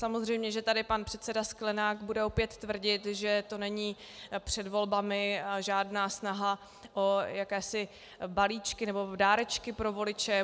Samozřejmě, že tady pan předseda Sklenák bude opět tvrdit, že to není před volbami žádná snaha o jakési balíčky nebo dárečky pro voliče.